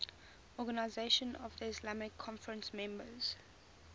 organisation of the islamic conference members